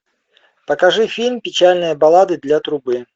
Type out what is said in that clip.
покажи фильм печальная баллада для трубы